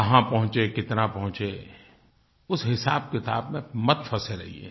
कहाँ पहुँचे कितना पहुँचे उस हिसाबकिताब में मत फँसे रहिये